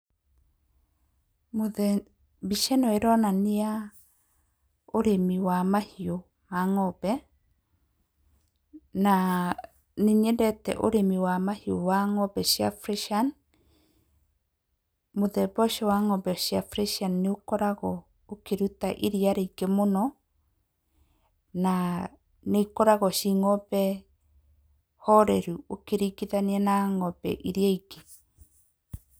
Mbica ĩno ĩronania ũrĩmi wa mahiũ wa ng'ombe, na nĩ nyendete ũrĩmi wa mahiũ wa ng'ombe cia frecian. Mũthemba ũcio wa ng'ombe cia frecian nĩ ũkoragwo ũkĩruta iriya rĩingĩ mũno, na nĩ ikoragwo ciĩ ng'ombe horeru ũkĩringithania na ng'ombe iria ingĩ.